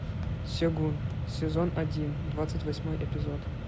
сегун сезон один двадцать восьмой эпизод